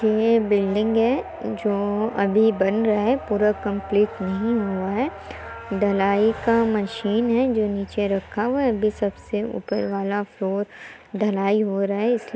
ये बिल्डिंग है जो अभी बन रहा है पूरा कम्पलीट नहीं हुआ है ढलाई का मशीन है जो निचे रखा हुआ है अभी सबसे ऊपर वाला फ्लोर ढलाई हो रहा है।